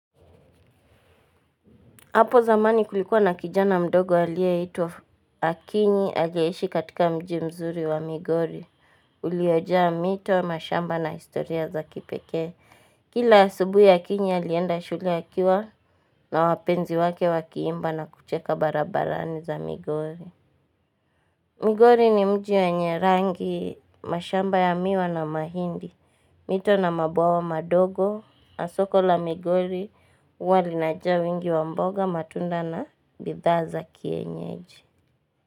Apo zamani kulikuwa na kijana mdogo alie itwa Akinyi ageishi katika mji mzuri wa Migori. Uliojaa mito, mashamba na historia za kipekee. Kila asubuhi ya Akinyi alienda shule akiwa na wapenzi wake wakiimba na kucheka barabarani za Migori. Migori ni mji wenye rangi mashamba ya miwa na mahindi. Mito na mabawa wa madogo, na soko la migori, huwa linajaa wingi wa mboga matunda na bidhaa za kienyeji.